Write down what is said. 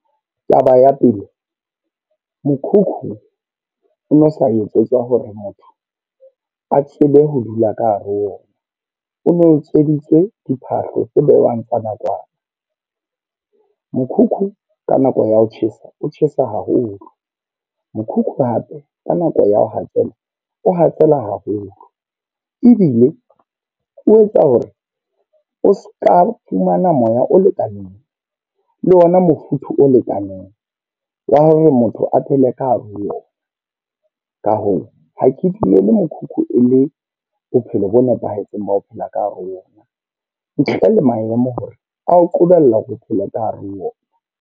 Taba ya pele, mokhukhu o no sa etsetswa hore motho a tsebe ho dula ka hare ho ona. O no utsweditswe diphahlo tse bewang tsa nakwana. Mokhukhu ka nako ya ho tjhesa o tjhesa haholo. Mokhukhu hape ka nako ya ho hatsela, o hatsela haholo. Ebile o etsa hore o seka fumana moya o lekaneng le ona mofuthu o lekaneng wa hore motho a phele ka hare ho yona. Ka hoo, ha ke tlile le mokhukhu e le bophelo bo nepahetseng ba ho phela ka hare ho ona. Ntle le maemo hore ao qobella ho phela ka hare ho ona.